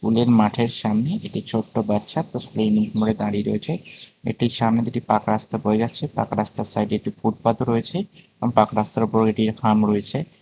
এই মাঠের সামনে একটি ছোট্ট বাচ্চা তার স্কুলের ইউনিফর্ম পড়ে দাঁড়িয়ে রয়েছে এটির সামনে দিয়ে একটি পাকা রাস্তা বয়ে যাচ্ছে পাকা রাস্তার সাইডে একটি ফুটপাত ও রয়েছে আর পাকা রাস্তার উপর একটি থাম রয়েছে।